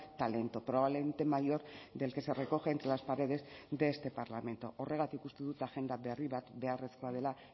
talento probablemente mayor del que se recoge entre las paredes de este parlamento horregatik uste dut agenda berri bat beharrezkoa dela